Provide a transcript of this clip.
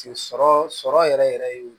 Sɔrɔ sɔrɔ yɛrɛ yɛrɛ ye